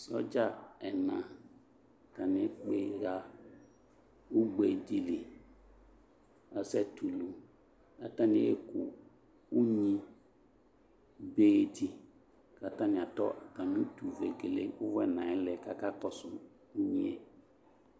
Sɔdza ɛna atane ekpe ha ugbe de li asɛ tulu ka atane eku unyibe de ka atane atɔ atame utuvegle uwɔ ɛnaɛ lɛ kaka kɔso unyie